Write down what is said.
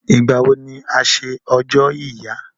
Ìgbà wo ni a ṣe ọjọ́ ìyá?